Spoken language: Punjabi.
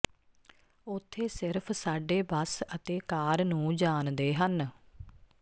ਉੱਥੇ ਸਿਰਫ ਸਾਡੇ ਬੱਸ ਅਤੇ ਕਾਰ ਨੂੰ ਜਾਣਦੇ ਹਨ